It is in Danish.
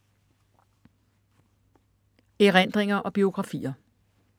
Erindringer og biografier